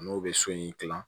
N'o bɛ so in dilan